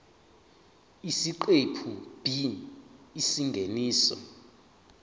isiqephu b isingeniso